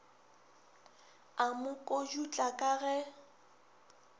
a mo kodutla ka ge